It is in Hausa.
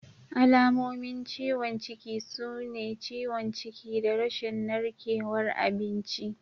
Alamomin ciwon ciki sune ciwon ciki da rashin narkewar abinci.